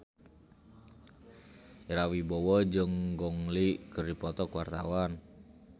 Ira Wibowo jeung Gong Li keur dipoto ku wartawan